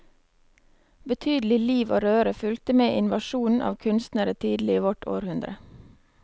Betydelig liv og røre fulgte med invasjonen av kunstnere tidlig i vårt århundre.